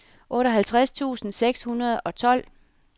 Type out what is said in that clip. otteoghalvtreds tusind seks hundrede og tolv